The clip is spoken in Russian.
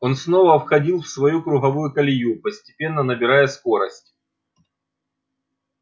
он снова входил в свою круговую колею постепенно набирая скорость